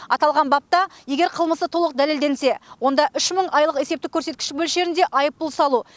аталған бапта егер қылмысы толық дәлелденсе онда үш мың айлық есептік көрсеткіш мөлшерінде айыппұл салу